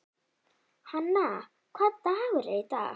Hanna, hvaða dagur er í dag?